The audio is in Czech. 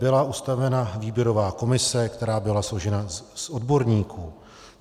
Byla ustavena výběrová komise, která byla složena z odborníků.